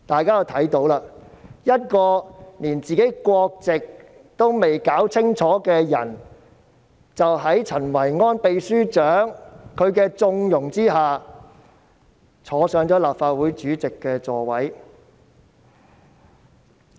一位連自己國籍也未能搞清楚的人，在陳維安秘書長的縱容下坐上了立法會主席之位。